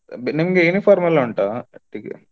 ನಿಮ್ಗೆ uniform ಎಲ್ಲಾ ಉಂಟ .